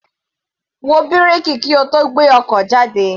Wo bírèkì kí o tó gbé ọkọ̀ jáde.